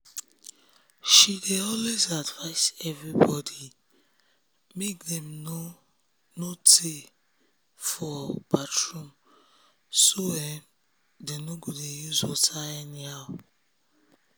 she um dey always advice everybody make dem no no tey for um bathroom so dem no um go dey use water anyhow.